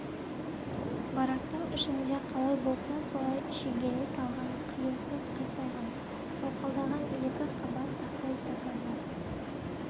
барактың ішінде қалай болса солай шегелей салған қиюсыз қисайған солқылдаған екі қабат тақтай сәкі бар